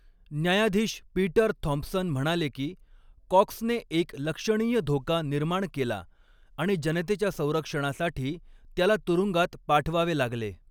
न्यायाधीश Peter Thompson म्हणाले की कॉक्सने एक लक्षणीय धोका निर्माण केला आणि जनतेच्या संरक्षणासाठी त्याला तुरुंगात पाठवावे लागले.